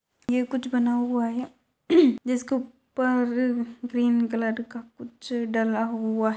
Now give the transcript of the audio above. ये कूछ बना हुआ है जिस का ऊपर ग्रीन कलर का कुछ डला हुआ --